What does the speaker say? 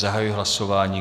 Zahajuji hlasování.